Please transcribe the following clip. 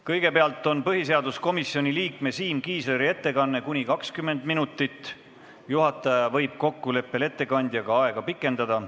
Kõigepealt on põhiseaduskomisjoni liikme Siim Kiisleri ettekanne kuni 20 minutit, juhataja võib kokkuleppel ettekandjaga seda aega pikendada.